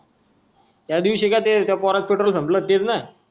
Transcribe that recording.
त्यादिवशी का ते त्या पोराचं पेट्रोल संपलं तेच ना